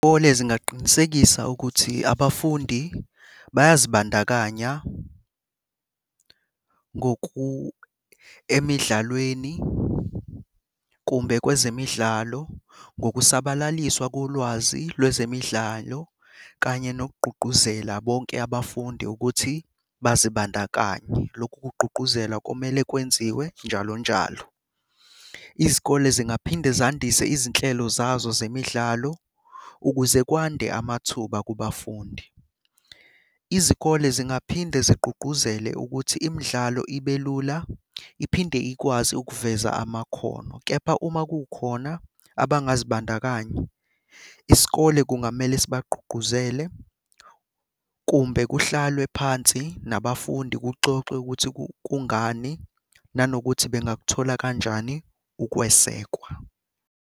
Izikole zingaqinisekisa ukuthi abafundi bayazibandakanya emidlalweni kumbe kwezemidlalo ngookusabalaliswa kolwazi lwezemidlalo kanye nokugqugquzela bonke abafundi ukuthi bazibandakanye. Lokhu kugqugquzelwa kumele kwenziwe njalo njalo. Izikole zingaphinde zandise izinhlelo zazo zemidlalo ukuze kwande amathuba kubafundi. Izikole zingaphinde zigqugquzele ukuthi imdlalo ibe lula iphinde ikwazi ukuveza amakhono, kepha uma kukhona abangazibandakanya, isikole kungamele sibagqugquzele kumbe kuhlalwe phansi nabafundi kuxoxwe ukuthi kungani nanokuthi bengakuthola kanjani ukwesekwa.